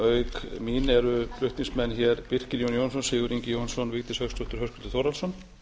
auk mín eru flutningsmenn hér birkir jón jónsson sigurður ingi jóhannsson vigdís hauksdóttir og höskuldur þórhallsson